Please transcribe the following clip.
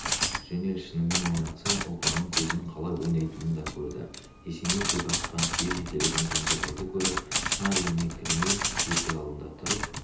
жөнел шынымен ойнатса ұлпанның көзінің қалай ойнайтынын да көрді есеней жүк артқан түйе жетелеген кенжетайды көріп шынар үйіне кірмей есік алдында тұрып